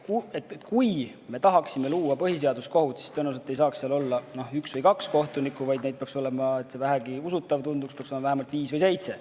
Kui me tahaksime luua põhiseaduskohut, siis tõenäoliselt ei saaks seal olla üks või kaks kohtunikku, vaid neid peaks olema, et see vähegi usutav tunduks, vähemalt viis või seitse.